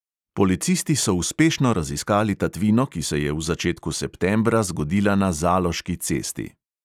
Policisti so uspešno raziskali tatvino, ki se je v začetku septembra zgodila na zaloški cesti.